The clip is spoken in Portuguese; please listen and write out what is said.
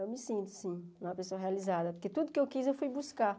Eu me sinto, sim, uma pessoa realizada, porque tudo que eu quis eu fui buscar.